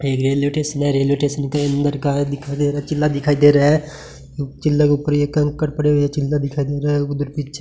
ये railway station है railway station के अंदर का दिखाई दे रहा है चिल्ला दिखाई दे रहा है चिल्ला के ऊपर ये कंकड़ पड़े हुए हैं चिल्ला दिखाई दे रहा है उधर पीछे --